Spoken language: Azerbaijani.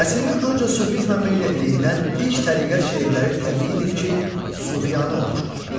Nəsimi öncə sufizmə meyl etdiyindən ilk təriqət şeirləri təbiidir ki, sufiyanə olmuşdur.